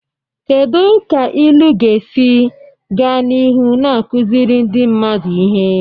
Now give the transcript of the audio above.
Kedu ka ilu ga-esi gaa n'ihu na-akụziri ndị mmadụ ihe?